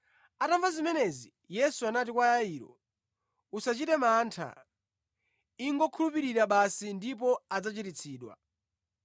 Atamva zimenezi, Yesu anati kwa Yairo, “Usachite mantha, ingokhulupirira basi ndipo adzachiritsidwa.”